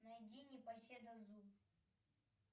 найди непоседа зу